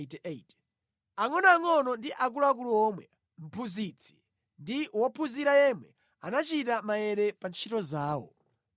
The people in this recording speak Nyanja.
Angʼonoangʼono ndi akulu omwe, mphunzitsi ndi wophunzira yemwe anachita maere pa ntchito zawo.